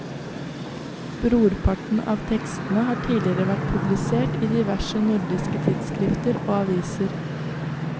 Brorparten av tekstene har tidligere vært publisert i diverse nordiske tidsskrifter og aviser.